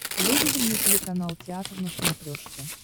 выведи мне телеканал театр на смотрешке